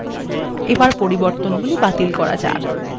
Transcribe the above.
এখন পরিবর্তনগুলি বাতিল করা যাক